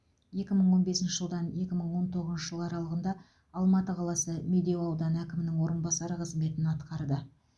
екі мың он бесінші жылдан екі мың он тоғызыншы жыл аралығында алматы қаласы медеу ауданы әкімінің орынбасары қызметін атқарды